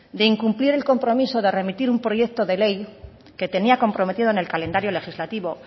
de incumplir el compromiso de remitir un proyecto de ley que tenía comprometido en el calendario legislativo